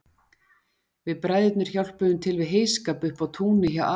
Við bræðurnir hjálpuðum til við heyskap uppi á túni hjá afa